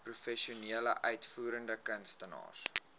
professionele uitvoerende kunstenaars